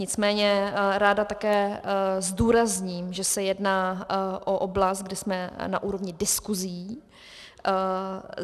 Nicméně ráda také zdůrazním, že se jedná o oblast, kde jsme na úrovni diskuzí.